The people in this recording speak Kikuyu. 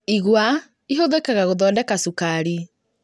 Igwa ihũthĩkaga gũthondeka cukari